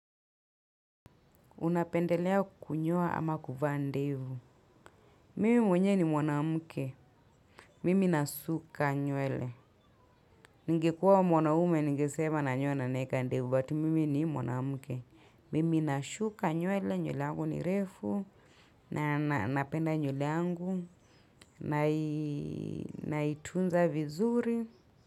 Unapendelea kunyoa ama kuvaa ndevu. Mimi mwenyewe ni mwanamke. Mimi nasuka nywele ningekua mwanaume ningesema nanyoa na naeka ndevu But mimi ni mwanamke. Mimi nashuka nywele. Nywele yangu ni refu. Na napenda nywele yangu nai na itunza vizuri.